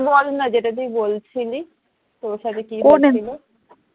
বল না যেটা তুই বলছিলি তোর সাথে কি হয়েছিল?